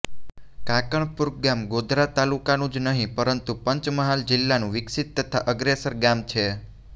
કાંકણપુર ગામ ગોધરા તાલુકાનું જ નહી પરંતુ પંચમહાલ જિલ્લાનું વિકસીત તથા અગ્રેસર ગામ છે